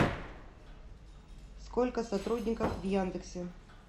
сколько сотрудников в яндексе